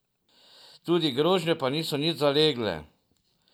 Tudi grožnje pa niso nič zalegle.